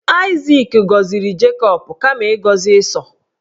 Aịzik gọziri Jacob kama ịgọzi Ịsọ